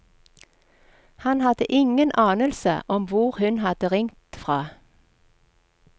Han hadde ingen anelse om hvor hun hadde ringt fra.